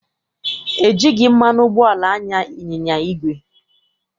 E jighị mmanụ ụgbọala anya ịnyịnya igwe.